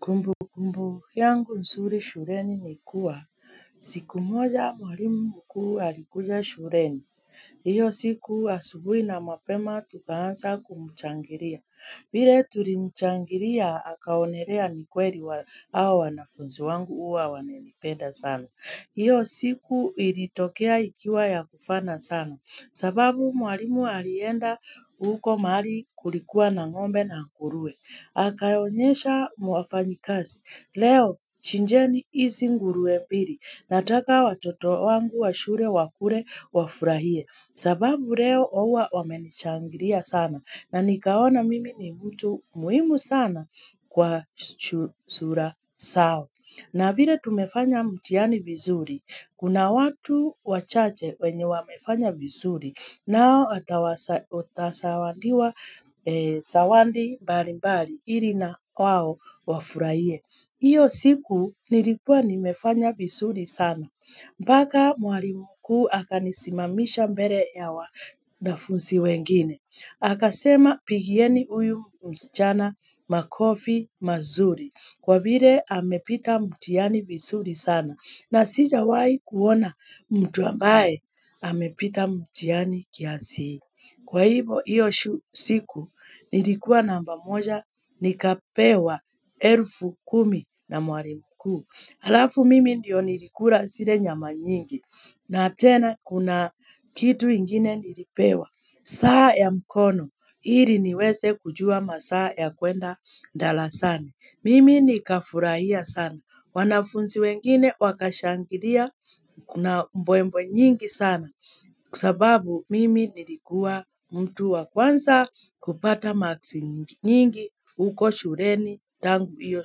Kumbu kumbu, yangu nzuri shuleni ni kuwa. Hh si siku moja mwalimu mkuu alikuja shuleni. Iyo siku asubui na mapema tukaanza kumuchangiria. Vile tulimuchangiria, akaonelea ni kweli wa awa wanafunzu wangu uwa wananipenda sana. Iyo siku ilitokea ikiwa ya kufana sana. Sababu mwalimu alienda huko mahali kulikuwa na ngombe na nguruwe. Akaonyesha mwafanyi kazi. Leo chinjeni izi nguruwe mbili. Nataka watoto wangu wa shule wakule wa furahie. Sababu leo ouwa wamenishangiria sana. Na nikaona mimi ni mtu muhimu sana kwa shu sura sao. Na vile tumefanya mtihani vizuri, kuna watu wachache wenye wamefanya vizuri nao atawasa atasaandiwa sawandi mbali mbali ili na wao wafurahie. Mhh Iyo siku nilikuwa nimefanya vizuri sana. Mhh hm Baka mwalimu mkuu aka nisimamisha mbele ya wanafunzi wengine. Aka sema pigieni uyu msichana makofi mazuri kwa vile amepita mtiani visuri sana na sijawai kuona mtu ambaye amepita mtiani kiasi hii. Kwa hivo iyo shu siku nilikuwa namba moja nikapewa elfu kumi na mwalimu mkuu. Alafu mimi ndio nilikula zile nyama nyingi, na tena kuna kitu ingine nilipewa, saa ya mkono, ili niweze kujua masaa ya kwenda ndarasani. Mimi ni kafurahia sana, wanafunzi wengine wakashangilia, kuna mbwembwe nyingi sana, kusababu mimi nilikua mtu wa kwanza kupata maksi nyingi, uko shuleni tangu hiyo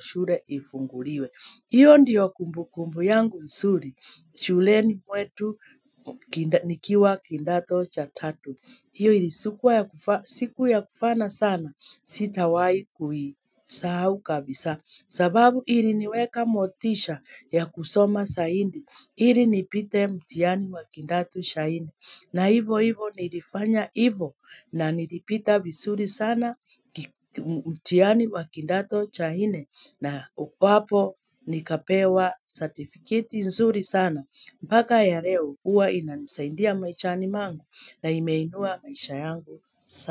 shule ifunguliwe. Iyo ndiyo kumbu kumbu yangu nsuri, shuleni mwetu kinda nikiwa kindato cha tatu. Iyo ili siku ya kufaa siku ya kufana sana, sitawai kui saau kabisa. Sababu ili niweka motisha ya kusoma saindi, ili nipite mtiani wa kindato cha nne. Na hivo hivo nilifanya hivo na nilipita vizuri sana ki mh mtiani wa kindato cha nne na ukwapo nikapewa certificate nzuri sana. Mpaka ya leo uwa inanisaindia maishani mwangu na imeinua maisha yangu sana.